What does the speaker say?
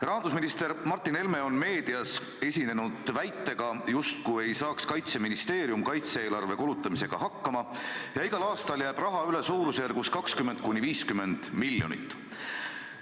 Rahandusminister Martin Helme on meedias esinenud väitega, justkui ei saa Kaitseministeerium kaitse-eelarve kulutamisega hakkama ja igal aastal jääb raha üle suurusjärgus 20–50 miljonit.